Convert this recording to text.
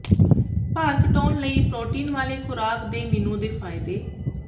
ਭਾਰ ਘਟਾਉਣ ਲਈ ਪ੍ਰੋਟੀਨ ਵਾਲੇ ਖੁਰਾਕ ਦੇ ਮੀਨੂੰ ਦੇ ਫਾਇਦੇ